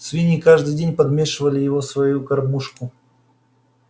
свиньи каждый день подмешивали его в свою кормушку